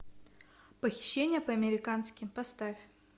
похищение по американски поставь